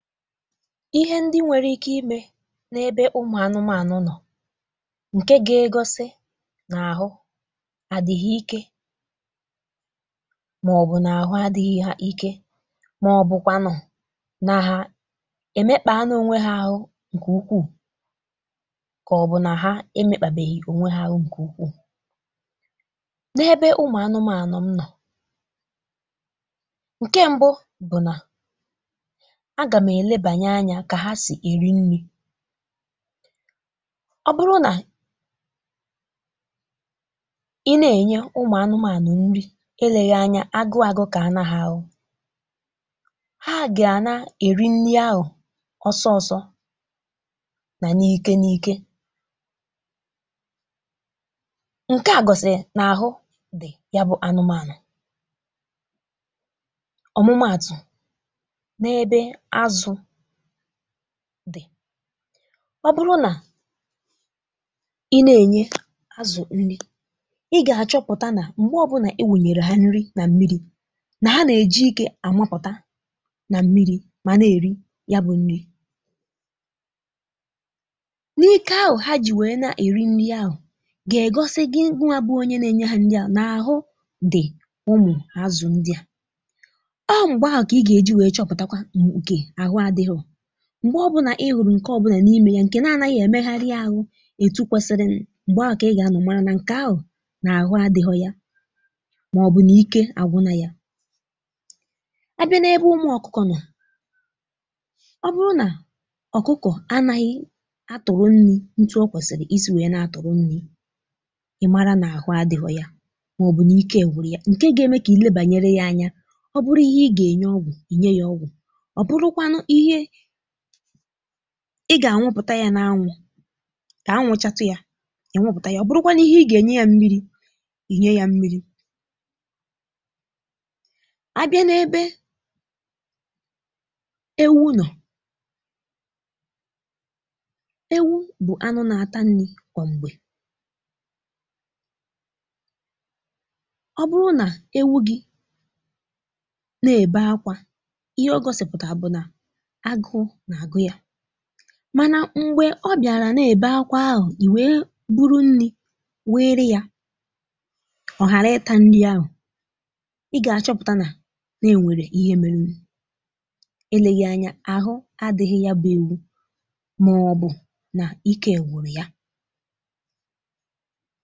ihe ndị nwèrè ike imè n’ebe ụmụ̀ anụmȧnụ nọ̀ ǹkè ga-egosi n’àhụ àdị ha ike màọbụ̀ n’àhụ adị̇ghị ha ike, màọbụ̀kwa nụ na ha èmekpàa nọ ònwe ha ahụ ǹkè ukwuù, kà ọ bụ̀ nà ha emekpàbèhi ònwe ha ahụ kà ukwuù, n’ebe ụmụ̀ anụmȧnụ m nọ̀ ǹkè mbụ bụ̀ na, agàm elebere anya kà ha sì èri nni̇, ọ bụrụ nà i na-ènye ụmụ̀anụmànụ̀ nni eleghị anya, agụ agukàna ha ahụ, ha gà-ana èri nni ahụ̀ ọsọ ọ̀si nà n’ike n’ike ǹkè à gọ̀sị̀ n’àhụ dị̀ ya bụ̇ ànụmànụ̀ ọ̀mụmaatụ̀, na ebe azụ dị, obùrù nà ị na-ènye azụ nni, ịga achọpụ̀tà na mgbe ọbụna i wùrụ̀yè ha nni na m̀miri̇, na ha na-eji ike àmàpụ̀tà na m̀miri̇ mànà èri ya bụ̀ nni na ike ahụ ha ji̇ nwee na èri nni ahụ gà-egosi gị wà bụ onye na-ènye ha nni a, na ahụ dị ụmụ azụ ndị à, o mgbe ahụ ka ịga eji achọpụ̀ta kwa nke ahụ adirọ, mgbe ọbụna ihu ǹkè ọ̀bụnà n’ímè ya ǹkè na-ànàghị̇ èmegharị ahụ̇ ètù kwesiri, mgbe ahụ̀ kà ị gà-anọ̀ mara nà ǹkè ahụ̀ n’àhụ adìhọ ya, màọbụ̇ na ike àgwụ nà ya, a bịa n’ebe ụmụ ọkụkọ̇ nọ̀ ọ bụrụ nà ọ̀kụkọ̀ anàghị̇ a tụ̀rụ̀ nni ntu o kwèsìrì isi̇ wèe na-atụ̀rụ̀ nni, ị mara nà àhụ adìhọ ya màọbụ̇ nà ike gwuru ya ǹkè ga-eme kà i lee bànyere yà anya, ọ bụrụ ihe ị gà-ènye ọgwụ̀, ìnye yà ọgwụ̀, obùrù kwanụ ihe ịga ànwụpụ̀ta yà n’anwụ̇ kà anwụchatu yà inwụpụ̀ta yà, ọ̀ bùrùkwanụ ihe ị gà-ènye yà m̀miri̇, inye yà m̀miri̇, a bịa n’ebe ewu nọ̀ ewu bụ̀ anụ nà-àta nni̇ kwa m̀gbè ọ bụrụ nà ewu gị̇ nà-èbe ákwà, ihe ọ gọsị̀pụ̀tà bụ̀ nà agụ na-agụ ya, mànà m̀gbè ọ bịàrà nà-èbe ákwà ahụ̀, ì nwee bụrụ nni̇ wùyèrè yà, ọ̀ ghàra ịtà nni ahụ̀, ị gà-àchọpụ̀ta nà-ènwèrè ihe mèrè, eleghị anya, àhụ adị̇ghị ya bụ̇ ewu màọbụ̀ nà ịke gwuru ya.